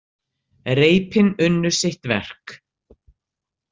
Reipin unnu sitt verk.